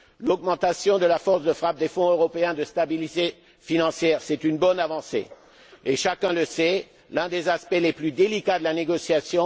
L'augmentation de la force de frappe du Fonds européen de stabilité financière, c'est un progrès et, chacun le sait, l'un des aspects les plus délicats de la négociation.